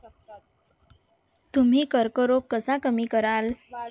तुम्ही कर्करोग कसा कमी कराल?